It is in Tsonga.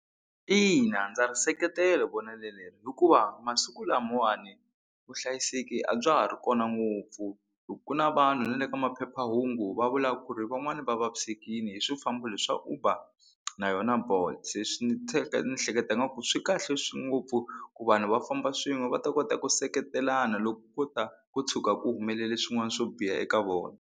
Ina ndza ri seketela vonelo leri hikuva masiku lamawani vuhlayiseki a bya ha ri kona ngopfu hi ku na vanhu na le ka maphephahungu va vulaku ku ri van'wani va vavisekile hi swi famba leswa Uber na yona Bolt se swi ni ni hleketaka ku swi kahle ngopfu ku vanhu va famba swin'we va ta kota ku seketelana loko ko ta ko tshuka ku humelele swin'wana swo biha eka vona.